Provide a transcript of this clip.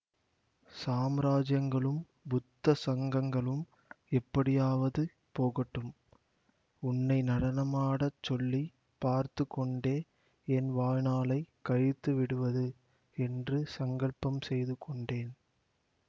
சாம்ராஜ்யங்களும் புத்த சங்கங்களும் எப்படியாவது போகட்டும் உன்னை நடனமாடச் சொல்லி பார்த்து கொண்டே என் வாழ்நாளை கழித்து விடுவது என்று சங்கல்பம் செய்து கொண்டேன்